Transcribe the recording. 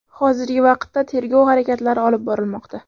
Hozirgi vaqtda tergov harakatlari olib borilmoqda.